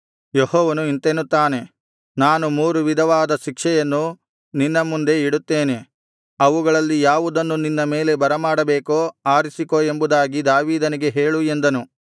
ಯೆಹೋವನು ಇಂತೆನ್ನುತ್ತಾನೆ ನಾನು ಮೂರು ವಿಧವಾದ ಶಿಕ್ಷೆಯನ್ನು ನಿನ್ನ ಮುಂದೆ ಇಡುತ್ತೇನೆ ಅವುಗಳಲ್ಲಿ ಯಾವುದನ್ನು ನಿನ್ನ ಮೇಲೆ ಬರಮಾಡಬೇಕೋ ಆರಿಸಿಕೋ ಎಂಬುದಾಗಿ ದಾವೀದನಿಗೆ ಹೇಳು ಎಂದನು